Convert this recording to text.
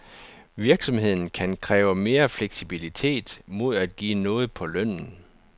Virksomheden kan kræve mere fleksibilitet mod at give noget på lønnen.